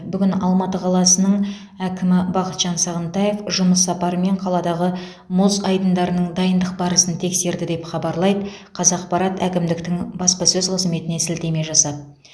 бүгін алматы қаласының әкімі бақытжан сағынтаев жұмыс сапарымен қаладағы мұз айдындарының дайындық барысын тексерді деп хабарлайды қазақпарат әкімдіктің баспасөз қызметіне сілтеме жасап